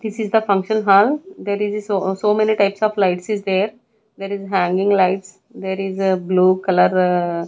This is the function hall there is a so so many types of lights is there there is a hanging lights there is a blue color --